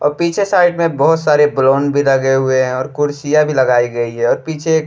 और पीछे साइड में बहुत सारे बलून भी लगे हुए हैं और कुर्सियाँ भी लगाई गई हैं और पीछे एक --